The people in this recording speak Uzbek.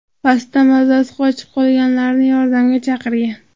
Pastda mazasi qochib, qolganlarni yordamga chaqirgan.